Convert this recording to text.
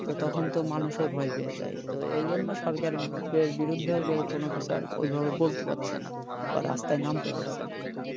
তখন তো মানুষও ভয় পেয়ে যায় তো এজন্য সরকারের বিরুদ্ধে কেউ কোন বিচার ঐ ভাবে বলতে পারছে না বা রাস্তায় নামতে পারছে না